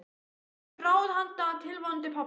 Hefurðu einhver ráð handa tilvonandi pabba?